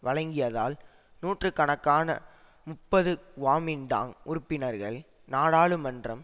வழங்கியதால் நூற்று கணக்கான முப்பது குவாமின்டாங் உறுப்பினர்கள் நாடாளுமன்றம்